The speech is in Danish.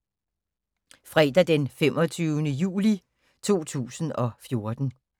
Fredag d. 25. juli 2014